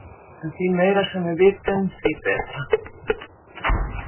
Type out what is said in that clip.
En því meira sem við vitum, því betra.